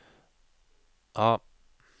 A